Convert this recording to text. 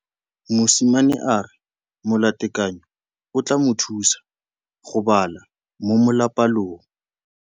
Mosimane a re molatekanyô o tla mo thusa go bala mo molapalong.